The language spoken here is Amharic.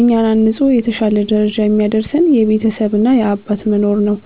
እኛን አንጾ የተሻለ ደረጃ የሚያደርሰን የቤተሰብ እና የአባት መኖር ነው።